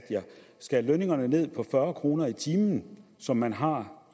skal lønningerne ned på fyrre kroner i timen som man har